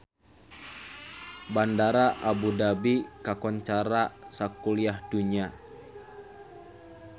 Bandara Abu Dhabi kakoncara sakuliah dunya